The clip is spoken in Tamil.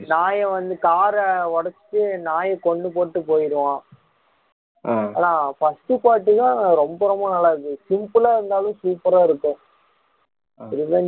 நாய வந்து கார ஒடச்சுட்டு நாயை கொன்னு போட்டுட்டு போயிடுவான் ஆனா first part தான் ரொம்ப ரொம்ப நல்லா இருந்துச்சு simple ஆ இருந்தாலும் super ஆ இருக்கும் revenge